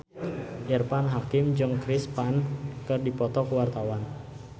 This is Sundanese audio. Irfan Hakim jeung Chris Pane keur dipoto ku wartawan